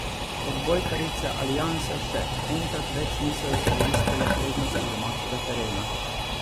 Odbojkarice Alianse še enkrat več niso izkoristile prednosti domačega terena.